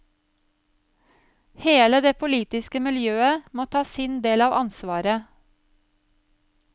Hele det politiske miljøet må ta sin del av ansvaret.